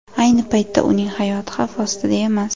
Ayni paytda uning hayoti xavf ostida emas.